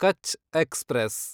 Kutch express